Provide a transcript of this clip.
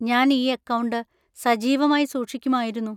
ഞാൻ ഈ അക്കൗണ്ട് സജീവമായി സൂക്ഷിക്കുമായിരുന്നു.